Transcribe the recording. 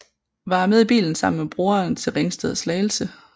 Var med i bilen sammen med broren til Ringsted og Slagelse